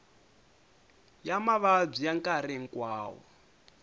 ya mavabyi ya nkarhi hinkwawo